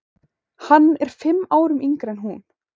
Hann er fimm árum yngri en hún.